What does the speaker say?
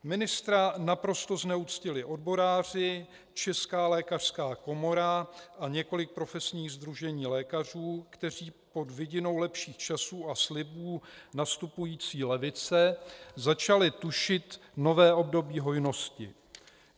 Ministra naprosto zneuctili odboráři, Česká lékařská komora a několik profesních sdružení lékařů, kteří pod vidinou lepších časů a slibů nastupující levice začali tušit nové období hojnosti.